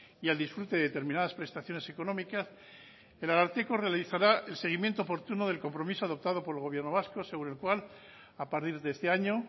y al disfrute de determinadas prestaciones económicas el ararteko realizará el seguimiento oportuno del compromiso adoptado por el gobierno vasco según el cual a partir de este año